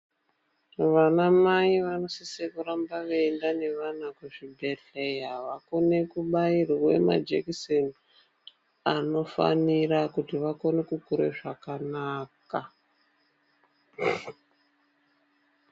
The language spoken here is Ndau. Vanamai vanosise kuramba veienda nevana kuzvibhedhleya vakone kubairwe majekiseni anofanira kuti vakone kukure zvakanaka